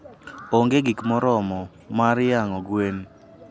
onge gik moromo mar yang'o gwen.